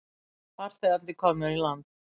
Farþegarnir komnir í land